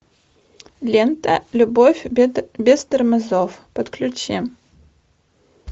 лента любовь без тормозов подключи